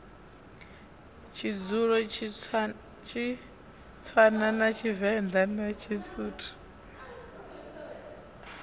tshizulu tshitswana tshivenḓa na tshisuthu